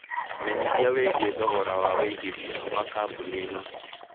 menyĩthĩa wĩigie thogora wa wĩigĩthĩa wa kambũni ĩno